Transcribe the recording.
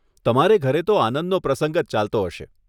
તમારે ઘરે તો આનંદનો પ્રસંગ જ ચાલતો હશે.